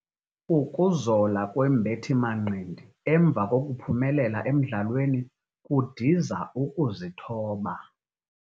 Ukuzola kwembethi-manqindi emva kokuphumelela emdlalweni kudiza ukuzithoba.